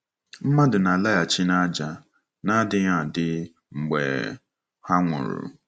Mmadụ na-alaghachi n’ájá — n’adịghị adị — mgbe ha nwụrụ.